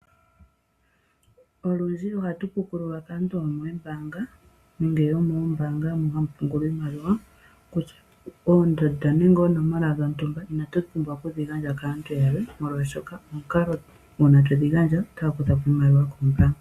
Olundji ohatu pukululwa kaantu yomoombaanga nenge yomoombanga moka hamu pungulwa iimaliwa kutya oondanda nenge oonomola dhintumba inatu pumbwa okudhi gandja kaantu yalwe molwashoka komukalo ngoka twedhi gandja oota vulu okukutha ko iimaliwa koombaanga.